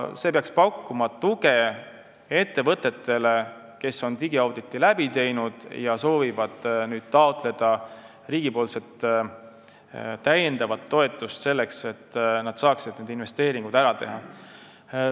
See peaks pakkuma tuge ettevõtetele, kes on digiauditi läbi teinud ja soovivad nüüd taotleda riigilt toetust, et nad saaksid need investeeringud ära teha.